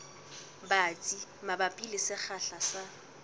batsi mabapi le sekgahla sa